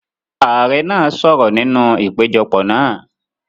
Ààrẹ náà sọ̀rọ̀ nínú ìpéjọpọ̀ náà.